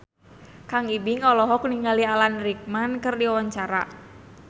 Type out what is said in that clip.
Kang Ibing olohok ningali Alan Rickman keur diwawancara